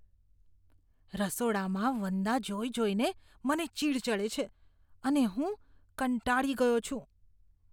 રસોડામાં વંદા જોઈ જોઈને મને ચીડ ચડે છે અને હું કંટાળી ગયો છું.